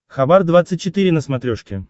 хабар двадцать четыре на смотрешке